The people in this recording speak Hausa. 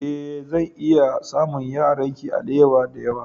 Ee, zan iya samun yaranki alewa da yawa.